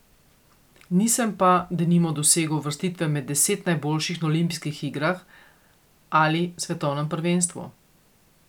Nisem pa denimo dosegel uvrstitve med deset najboljših na olimpijskih igrah ali svetovnem prvenstvu.